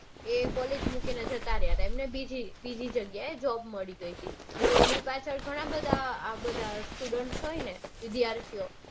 એ collage તા. એમને બીજી બીજી જગ્યાએ job મળી ગઈ તી. તો ઘણા બધા આ બધા students વિદ્યાર્થીઓ